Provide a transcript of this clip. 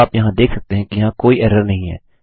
अब आप यहाँ देख सकते हैं कि यहाँ कोई एरर नहीं है